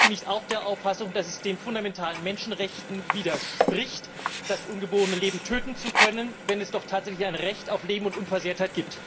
Und sind Sie nicht auch der Auffassung, dass es den fundamentalen Menschenrechten widerspricht, das ungeborene Leben töten zu können, wenn es doch tatsächlich ein Recht auf Leben und Unversehrtheit gibt?